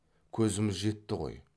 көзіміз жетті ғой